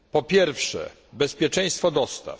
Po pierwsze bezpieczeństwo dostaw.